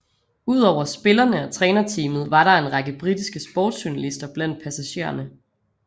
Ud over spillerne og trænerteamet var der en række britiske sportsjournalister blandt passagererne